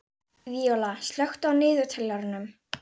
Víóla, slökktu á niðurteljaranum.